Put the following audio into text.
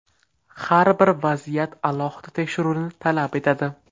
Har bir vaziyat alohida tekshiruvni talab etadi.